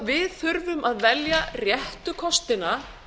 við þurfum að velja réttu kostina